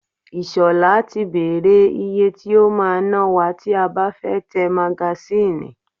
Ìṣọ̀lá ti bèrè ìyè tí o máa ná wa tí a bá fẹ́ tẹ magasínì.